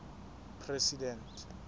president